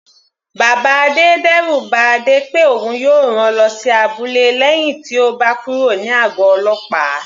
Bàbá Adé d'ẹru ba Adé pé òun yóò rán lọ sí abúlé lẹ́hìn tí ó gba kúrò ní àgọ̀ ọlọ́pàá.